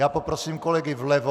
Já poprosím kolegy vlevo...